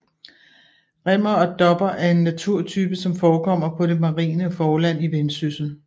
Rimmer og dopper er en naturtype som forekommer på det marine forland i Vendsyssel